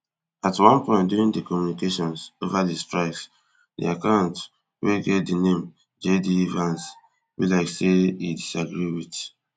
at one point during di communications over di strikes di account wey get di name jd vance be like say e disagree wit